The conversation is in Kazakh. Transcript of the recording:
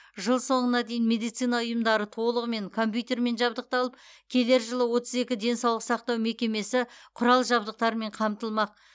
жыл соңына дейін медицина ұйымдары толығымен компьютермен жабдықталып келер жылы отыз екі денсаулық сақтау мекемесі құрал жабдықтармен қамтылмақ